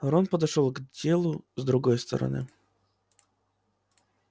рон подошёл к делу с другой стороны